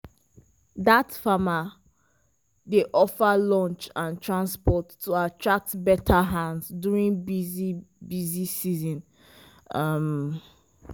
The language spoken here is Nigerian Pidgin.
dat farmer dey offer lunch and transport to attract better hands during busy busy season. um